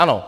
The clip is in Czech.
Ano.